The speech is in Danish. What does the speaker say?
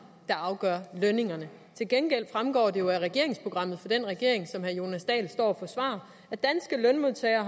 der afgør lønningerne til gengæld fremgår det jo af regeringsprogrammet for den regering som herre jonas dahl står og forsvarer at danske lønmodtagere